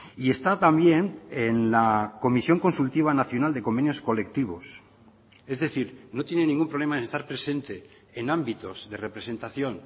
y está también en la comisión consultiva nacional de convenios colectivos es decir no tiene ningún problema en estar presente en ámbitos de representación